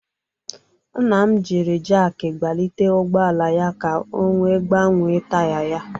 Nna m jiri jakị gbalite ụgọala ya ka o wee gbanwee taya ya.